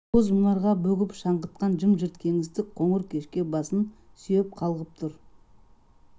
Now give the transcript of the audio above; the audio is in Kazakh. боз мұнарға бөгіп шаңытқан жым-жырт кеңістік қоңыр кешке басын сүйеп қалғып тұр